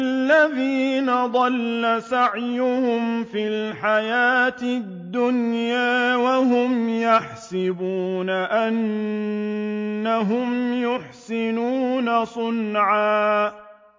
الَّذِينَ ضَلَّ سَعْيُهُمْ فِي الْحَيَاةِ الدُّنْيَا وَهُمْ يَحْسَبُونَ أَنَّهُمْ يُحْسِنُونَ صُنْعًا